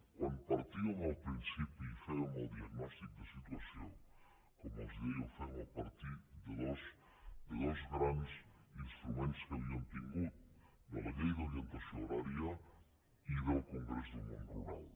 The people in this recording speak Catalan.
quan partíem al principi i fèiem el diagnòstic de situació com els deia ho fem a partir de dos grans instruments que havíem tingut de la llei d’orientació agrària i del congrés del món rural